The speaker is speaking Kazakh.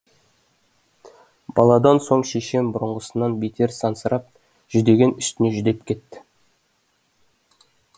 баладан соң шешем бұрынғысынан бетер сансырап жүдеген үстіне жүдеп кетті